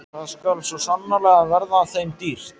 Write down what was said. Það skal svo sannarlega verða þeim dýrt!